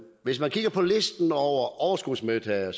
hvis man kigger på listen over overskudsmodtagere